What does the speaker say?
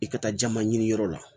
I ka taa jaman ɲiniyɔrɔ la